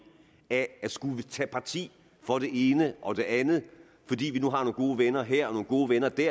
af at skulle tage parti for det ene og det andet fordi vi nu har nogle gode venner her og nogle gode venner der